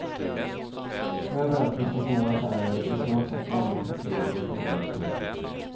Överallt finns det små affärer och i snart sagt varje kvarter är det tillverkning.